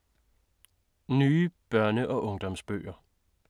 Nye børne- og ungdomsbøger